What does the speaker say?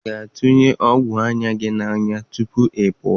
Ị ga-atụnye ọgwụ anya gị n'anya tupu ị pụwa?